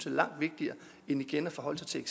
langt vigtigere end igen at forholde sig til